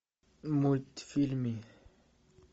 мультфильмы